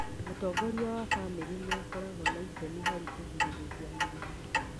Mũtongoria wa bamĩrĩ nĩ akoragwo na itemi harĩ kũgirĩrĩria mĩrimũ